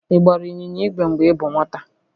Ị gbara ịnyịnya igwe mgbe ị bụ nwata?